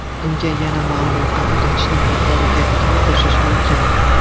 Bunga yana ma’lumotlar uzatishning yuqori tezligini qo‘shish mumkin.